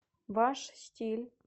ваш стиль